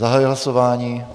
Zahajuji hlasování.